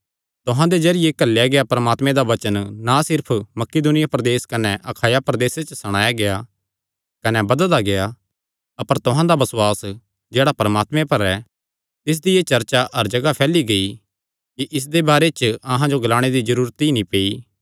तुहां दे जरिये घल्लेया गेआ परमात्मे दा वचन ना सिर्फ मकिदुनिया प्रदेस कने अखाया प्रदेसे च सणाया गेआ कने बधदा गेआ अपर तुहां दा बसुआस जेह्ड़ा परमात्मे पर ऐ तिसदी एह़ चर्चा हर जगाह च फैली गेई कि इसदे बारे च अहां जो ग्लाणे दी जरूरत ई नीं पेई